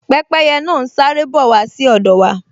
Pẹ́pẹ́yẹ náà n sáré bọ̀ wá sí ọ̀dọ̀ wa